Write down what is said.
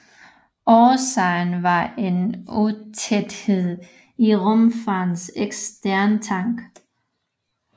Årsagen var en utæthed i rumfærgens eksterne tank